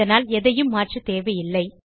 அதனால் எதையும் மாற்றதேவையில்லை